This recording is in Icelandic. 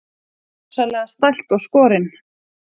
Rosalega stælt og skorin.